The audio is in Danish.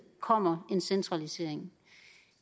kommer en centralisering